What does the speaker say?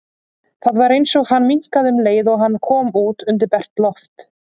Það var eins og hann minnkaði um leið og hann kom út undir bert loft.